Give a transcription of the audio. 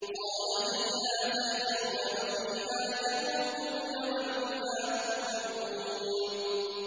قَالَ فِيهَا تَحْيَوْنَ وَفِيهَا تَمُوتُونَ وَمِنْهَا تُخْرَجُونَ